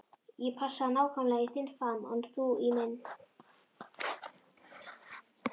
Ég passaði nákvæmlega í þinn faðm og þú í minn.